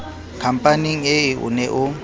khampaneng ee o ne o